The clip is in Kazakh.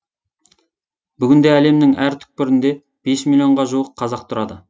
бүгінде әлемнің әр түкпірінде бес миллионға жуық қазақ тұрады